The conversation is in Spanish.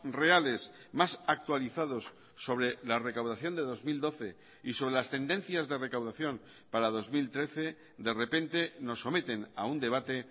reales más actualizados sobre la recaudación de dos mil doce y sobre las tendencias de recaudación para dos mil trece de repente nos someten a un debate